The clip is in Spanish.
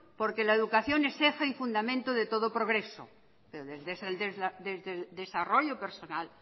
porque la educación es eje y fundamento de todo progreso desde el desarrollo personal